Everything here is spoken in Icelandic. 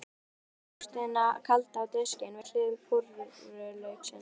Settu jógúrtina kalda á diskinn, við hlið púrrulauksins.